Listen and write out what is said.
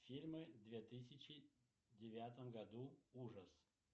фильмы две тысячи девятом году ужас